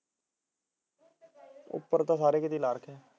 ਉਪਰ ਤਾਂ ਸਾਰੇ ਕਿਤੇ ਲਾ ਰੱਖੇ ਐ